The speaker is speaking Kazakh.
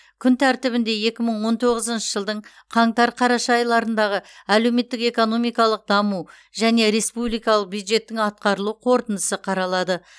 күн тәртібінде екі мың он тоғызыншы жылдың қаңтар қараша айларындағы әлеуметтік экономикалық даму және республикалық бюджеттің атқарылу қорытындысы қаралады